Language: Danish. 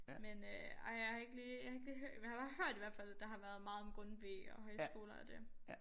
Men øh ej jeg har ikke lige jeg har ikke lige jeg har bare hørt i hvert fald der har været meget om Grundtvig ohghøjskoler og det